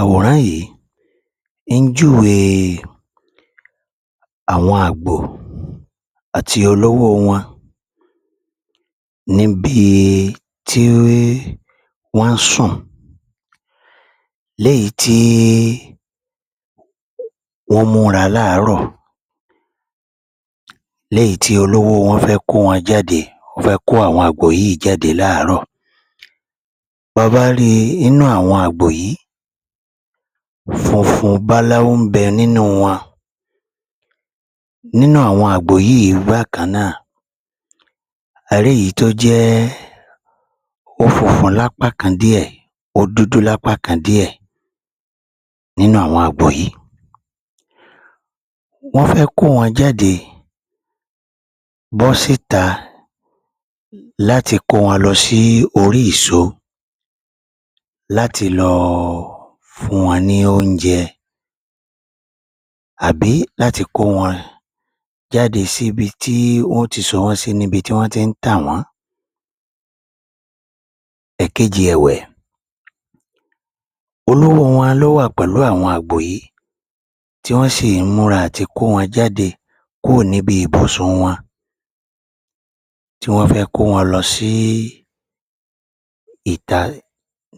Àwòrán yìí, ń júwe àwọn àgbò àti olówó wọn níbi tí wọ́n sùn, léyìí tí wọ́n múra láàárọ̀, léyìí tí olówó wọn fẹ́ kó wọn jáde, ó fẹ́ kó àwọn àgbò yìí jáde láàárọ̀. Báa bá ríi inú àwọn àgbò yìí, funfun báláú ń bẹ nínú wọn. Nínú àwọn àgbò yìí bákan náà, a rí èyí tó jẹ́ ó funfun lápá kan díẹ̀, ó dúdú lápá kan díẹ̀ nínú àwọn àgbò yìí. Wọ́n fẹ́ kó wọn jáde bọ́ síta láti kó wọn lọ sí orí ìso láti lọ fún wọn ní oúnjẹ, àbí láti kó wọn jáde síbi tí wọn ó ti so wọ́n sí níbi tí wọ́n ti ń tà wọ́n. Ẹ̀kejì ẹ̀wẹ̀, olówó wọn ló wà pẹ̀lú àwọn àgbò yìí tí wọ́n sì ń múra àtikó wọn jáde kúò níbi ìbùsùn wọn tí wọ́n fẹ́ kó wọn lọ sí ìta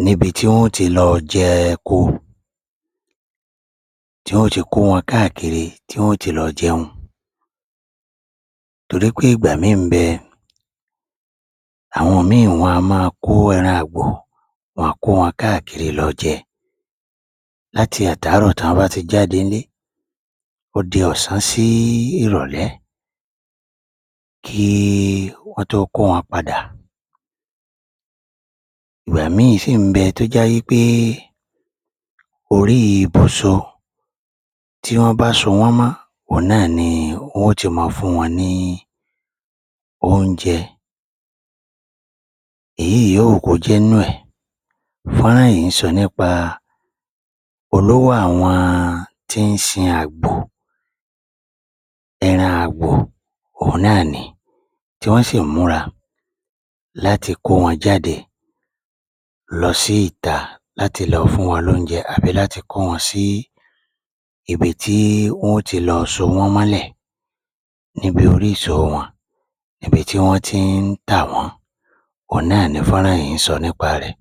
níbi tí wọ́n ó ti lọ jẹko tí wọ́n ó ti kó wọn káàkiri tí wọ́n ó ti lọ jẹun. Torí pé ìgbà míì ń bẹ àwọn míì wọn a máa kó ẹran àgbò, wọn a kó wọn káàkiri lọ jẹ. Láti àtàárọ̀ tán bá ti jáde ńlé, ó di ọ̀sán sí ìrọ̀lẹ́ kí wọ́n tó kó wọn padà. Ìgbà míì sì ń bẹ tó já wí pé orí ibùso tí wọ́n bá sọ wọ́n mọ́, òhun náà ni wọn ó ti mọ́ ọn fún wọn ní oúnjẹ. Èyí yòówù kó jẹ́ nínú ẹ̀ fọ́nrán yìí ń sọ nípa olówó àwọn tí ń sin àgbò ẹran àgbò, òhun náà ni. Tí wọ́n sì múra láti kó wọn jáde lọ sí ìta láti lọ fún wọn lóúnjẹ àbí kó wọn sí ibi tí wọ́n ó ti lọ so wọ́n mọ́lẹ̀ níbi oríso wọn, ibi tí wọ́n tí ń tà wọ́n, òhun náà ni fọ́nrán yìí ń sọ nípa rẹ̀.